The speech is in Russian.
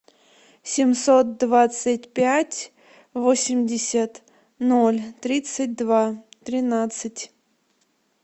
семьсот двадцать пять восемьдесят ноль тридцать два тринадцать